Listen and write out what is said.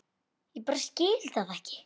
Ég bara skil það ekki.